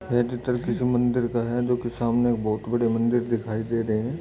यह चित्र किसी मंदिर का जोकि सामने बहुत बड़े मंदिर दिखाई दे रहे हैं।